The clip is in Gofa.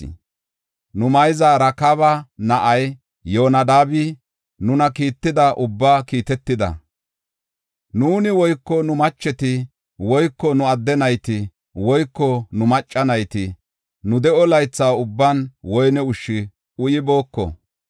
Nu mayzay Rakaaba na7ay Yoonadaabi nuna kiitida ubbaa kiitetida. Nuuni woyko nu macheti woyko nu adde nayti woyko nu macca nayti nu de7o laytha ubban woyne ushshu uyibooko.